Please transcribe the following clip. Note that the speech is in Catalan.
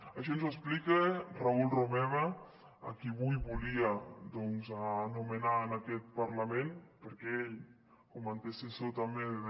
això ens explica raül romeva a qui avui volia anomenar en aquest parlament perquè ell com antecessor també de